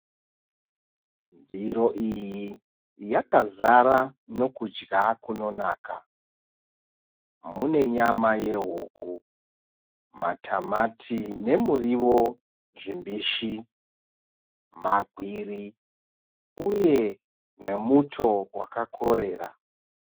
Ndiro iyi yakazara nokudya kunonaka. Mune nyama yehuku , matamati nemuriwo zvimbishi, magwiri uye nemuto wakakorera.